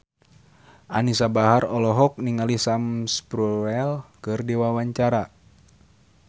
Anisa Bahar olohok ningali Sam Spruell keur diwawancara